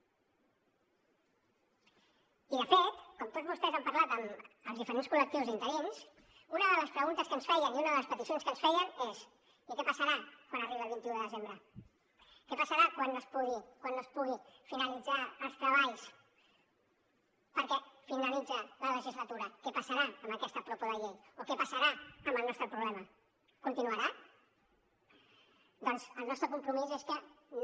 i de fet com tots vostès han parlat amb els diferents col·lectius d’interins una de les preguntes que ens feien i una de les peticions que ens feien és i què passarà quan arribi el vint un de desembre què passarà quan no es puguin finalitzar els treballs perquè finalitza la legislatura què passarà amb aquesta propo de llei o què passarà amb el nostre problema continuarà doncs el nostre compromís és que no